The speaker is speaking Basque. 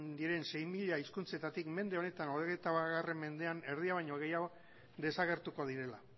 diren sei mila hizkuntzetatik hogeita bat mendean erdia baino gehiago desagertuko direla